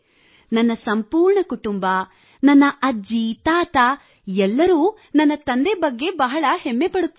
ನನ್ನ ಸಂಪೂರ್ಣ ಕುಟುಂಬ ನನ್ನ ಅಜ್ಜಿ ತಾತ ಎಲ್ಲರೂ ನನ್ನ ತಂದೆ ಬಗ್ಗೆ ಬಹಳ ಹೆಮ್ಮೆಪಡುತ್ತಾರೆ